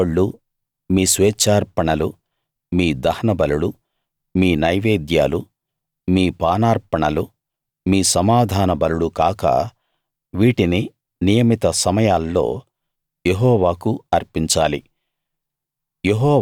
మీ మొక్కుబళ్ళు మీ స్వేచ్ఛార్పణలు మీ దహనబలులు మీ నైవేద్యాలు మీ పానార్పణలు మీ సమాధాన బలులు కాక వీటిని నియమిత సమయాల్లో యెహోవాకు అర్పించాలి